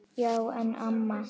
Já en amma.